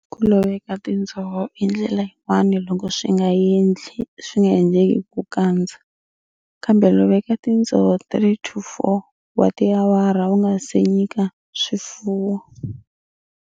Ku loveka tindzoho i ndlela yin'wana loko swi nga endleki ku kandza, kambe loveka tindzoho 3-4 wa tawara u nga si nyika swifuwo.